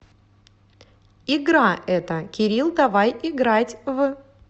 игра это кирилл давай играть в